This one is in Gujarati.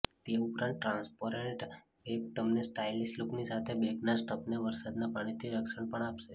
તે ઉપરાંત ટ્રાન્સપેરેન્ટ બેગ તમને સ્ટાઇલિશ લુકની સાથે બેગના સ્ટફને વરસાદના પાણીથી રક્ષણ પણ આપશે